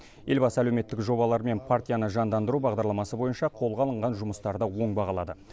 елбасы әлеуметтік жобалар мен партияны жандандыру бағдарламасы бойынша қолға алынған жұмыстарды оң бағалады